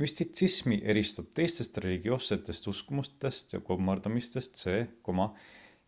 müstitsismi eristab teistest religioossetest uskumustest ja kummardamistest see